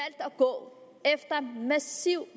gå efter